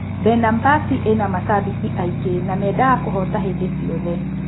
Benambasi ĩna macambĩki aingĩ na mendaga kũhoota hĩndĩ ciothe.